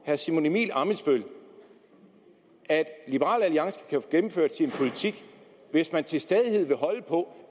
herre simon emil ammitzbøll at liberal alliance kan få gennemført sin politik hvis man til stadighed vil holde på